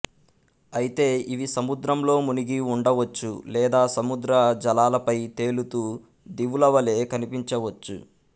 అయితే ఇవి సముద్రంలో మునిగి వుండవచ్చు లేదా సముద్ర జలాలపై తేలుతూ దీవుల వలె కనిపించవచ్చు